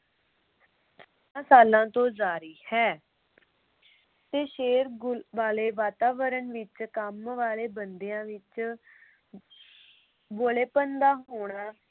ਕਈਆਂ ਸਾਲਾਂ ਤੋਂ ਜਾਰੀ ਹੈ ਤੇ ਸ਼ੋਰ ਗੁਲ ਵਾਲੇ ਵਾਤਾਵਰਣ ਵਿਚ ਕੰਮ ਵਾਲੇ ਬੰਦਿਆਂ ਵਿਚ ਬੋਲੇਪਨ ਦਾ ਹੋਣਾ